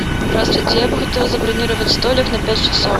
здравствуйте я бы хотела забронировать столик на пять часов